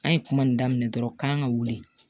An ye kuma nin daminɛ dɔrɔn k'an ka wuli